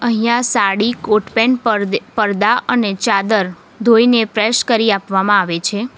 અહિંયા sari coat pant પરદે-પરદા અને ચાદર ધોઈને પ્રેસ કરી આપવામાં આવે છે.